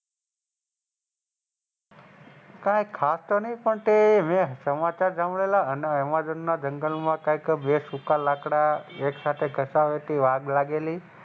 કાંઈ ખાસ તો નહિ પણ એ હવે સમાચાર સાંભળેલા એમેઝોન ના જંગલે માં કંઈક બે સુખા લાકડા એક સાથે ઘસતા આગ લાગેલી.